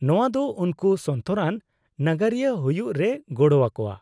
-ᱱᱚᱶᱟ ᱫᱚ ᱩᱱᱠᱩ ᱥᱚᱱᱛᱚᱨᱟᱱ ᱱᱟᱜᱟᱨᱤᱭᱟᱹ ᱦᱩᱭᱩᱜ ᱨᱮᱭ ᱜᱚᱲᱚᱣᱟᱠᱚᱣᱟ ᱾